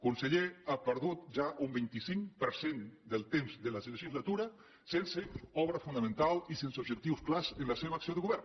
conseller ha perdut ja un vint cinc per cent del temps de la legislatura sense obra fonamental i sense objectius clars en la seva acció de govern